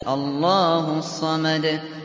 اللَّهُ الصَّمَدُ